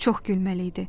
Çox gülməli idi.